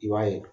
I b'a ye